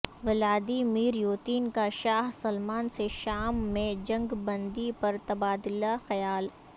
ولادی میر Putin کا شاہ Salman سے شام میں جنگ بندی پر تبادلہ خیال